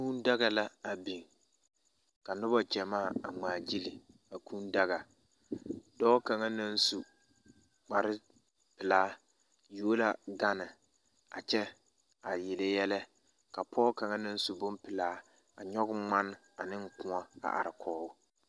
Kūūdaga la a biŋ ka noba ɡyamaa a ŋmaaɡyili a kūūdaga dɔɔ kaŋa naŋ su kparpelaa yuo la ɡane a kyɛ yele yɛlɛ ka pɔɡe kaŋa naŋ su bompelaa a nyɔɡe ŋman ne kõɔ a arekɔɡe o.